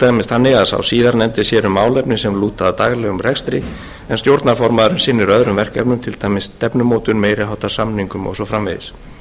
þannig að sá síðarnefndi sér um málefni sem lúta að daglegum rekstri en stjórnarformaðurinn sinnir öðrum verkefnum til dæmis stefnumótun meiri háttar samningum og svo framvegis